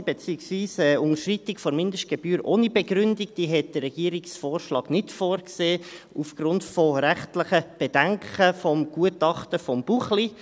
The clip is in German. Eine bedingungslose beziehungsweise eine Unterschreitung der Mindestgebühr ohne Begründung sah der Regierungsvorschlag nicht vor, aufgrund rechtlicher Bedenken gemäss dem Gutachten Buchli.